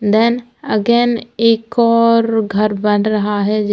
then again एक और घर बन रहा है जे--